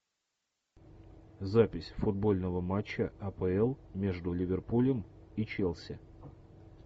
запись футбольного матча апл между ливерпулем и челси